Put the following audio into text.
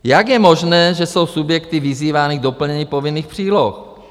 Jak je možné, že jsou subjekty vyzývány k doplnění povinných příloh?